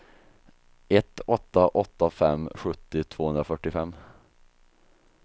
ett åtta åtta fem sjuttio tvåhundrafyrtiofem